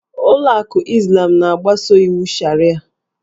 Ụlọ akụ Izlam na-agbaso iwu Sharịa.